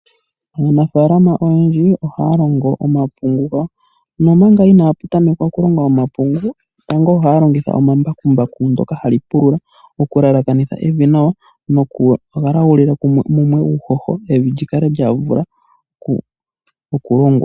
Aanafaalama oyendji ohaya longo omapungu gawo, nomanga inaya tameka okulonga omapungu tango ohaya longitha omambakumbaku ndyoka hali pulula okulalakanitha evi nawa nokugalagulila mumwe uuhoho evi li kale lya vula okulongwa.